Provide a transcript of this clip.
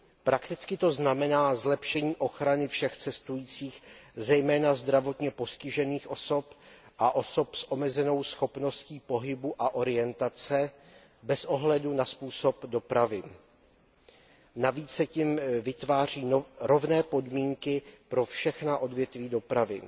Prakticky to znamená zlepšení ochrany všech cestujících, zejména zdravotně postižených osob a osob s omezenou schopností pohybu a orientace, bez ohledu na způsob dopravy. Navíc se tím vytváří rovné podmínky pro všechna odvětví dopravy.